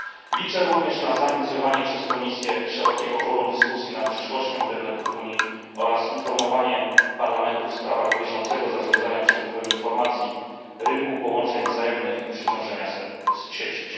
Liczę również na zainicjowanie przez Komisję szerokiego forum dyskusji nad przyszłością internetu w Unii oraz informowanie Parlamentu w sprawach bieżącego zarządzania przepływem informacji, rynku połączeń wzajemnych i przeciążenia sieci.